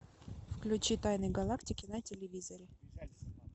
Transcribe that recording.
включи тайны галактики на телевизоре